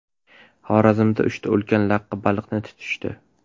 Xorazmda uchta ulkan laqqa baliqni tutishdi .